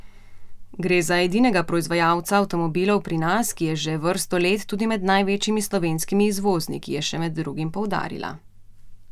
Gre za edinega proizvajalca avtomobilov pri nas, ki je že vrsto let tudi med največjimi slovenskimi izvozniki, je še med drugim poudarila.